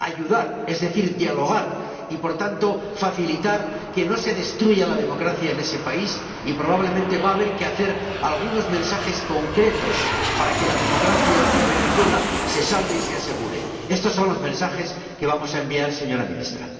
Hay que ayudar, es decir, dialogar, y, por tanto, facilitar que no se destruya la democracia en ese país, y probablemente va a haber que enviar algunos mensajes concretos para que la democracia en Venezuela se salve y se asegure. Estos son los mensajes que vamos a enviar, señora Ministra.